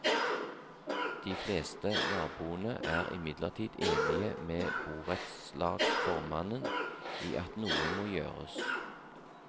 De fleste naboene er imidlertid enige med borettslagsformannen i at noe må gjøres.